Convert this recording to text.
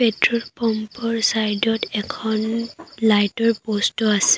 Petrol pump ৰ side ত এখন লাইট ৰ প'ষ্ট টো আছে।